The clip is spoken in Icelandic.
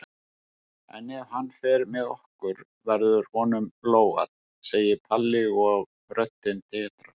En ef hann fer með okkur verður honum lógað, segir Palli og röddin titrar.